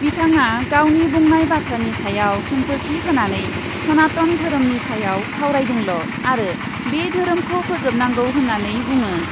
बिथाङा गावनि बुंनाय बाथ्रानि सायाव खेंफोरथि होनानै सनातन धोरोमनि सायाव सावरायदोंल' आरो बे धोरोमखौ फोजोबनांगौ होन्नानै बुङो।